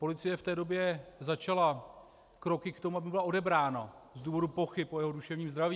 Policie v té době začala kroky k tomu, aby byla odebrána z důvodů pochyb o jeho duševní zdraví.